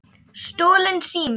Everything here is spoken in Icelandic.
Stolinn sími